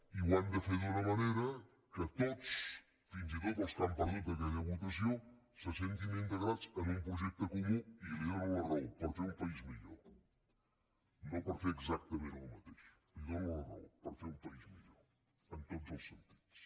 i ho han de fer d’una manera que tots fins i tot els que han perdut aquella votació se sentin integrats en un projecte comú i li dono la raó per fer una país millor no per fer exactament el mateix li dono la raó per fer un país millor en tots els sentits